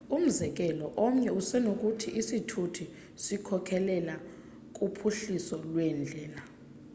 umzekelo omnye usenokuthi isithuthi sikhokelela kuphuhliso lweendlela